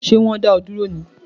Ṣé wọn dá ọ dúró ní?